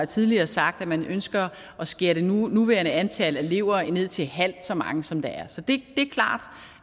tidligere sagt at man ønsker at skære det nuværende antal elever ned til halvt så mange som der er så det er klart